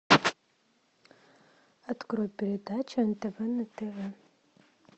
открой передачу нтв на тв